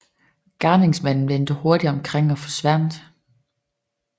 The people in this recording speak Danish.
Gerningsmanden vendte hurtigt omkring og forsvandt